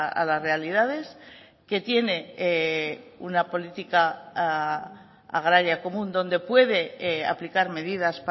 a las realidades que tiene una política agraria común donde puede aplicar medidas